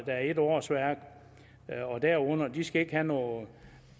er et årsværk og derunder og de skal ikke have nogen